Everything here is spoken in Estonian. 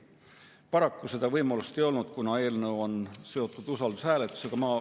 Paraku seda võimalust ei olnud, kuna eelnõu on seotud usaldushääletusega.